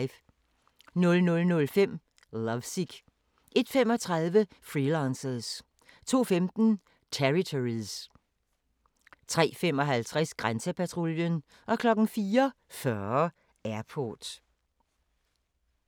00:05: Lovesick 01:35: Freelancers 02:15: Territories 03:55: Grænsepatruljen 04:40: Airport